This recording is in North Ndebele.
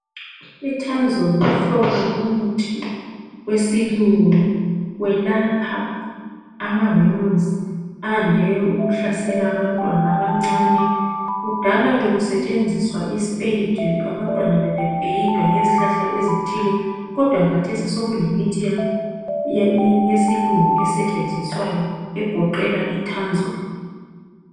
ITanzol ngumhlobo womuthi wesilungu welapha amawemusi ayande ukuhlasela abantwana abancane. Kudala bekusetshenziswa isipeyiti, abantwana bebepeyitwa ngezihlahla ezithilie kodwa kathesi sokulemithi yesilungu esetshenziswayo egoqela iTanzol.